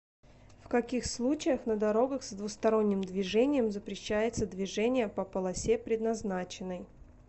в каких случаях на дорогах с двусторонним движением запрещается движение по полосе предназначенной